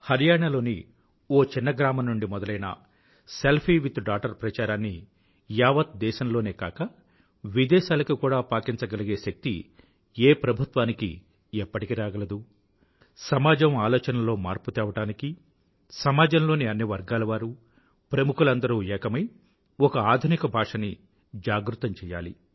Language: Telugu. హరియాణా లోని చిన్న గ్రామం నుండి మొదలైన సెల్ఫీవిత్డాగ్టర్ ప్రచారాన్ని యావత్ దేశంలోనే కాక విదేశాలకి కూడా పాకించగలిగే శక్తి ఏ ప్రభుత్వానికి ఎప్పటికి రాగలదు సమాజం ఆలోచనల్లో మార్పుని తేవడానికి సమాజంలో అన్ని వర్గాలవారూ ప్రముఖులందరూ ఏకమై ఒక ఆధునిక భాషని జాగృతం చెయ్యాలి